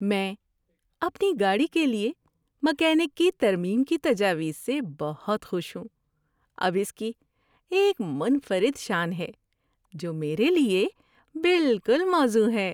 میں اپنی گاڑی کے لیے میکینک کی ترمیم کی تجاویز سے بہت خوش ہوں۔ اب اس کی ایک منفرد شان ہے جو میرے لیے بالکل موزوں ہے۔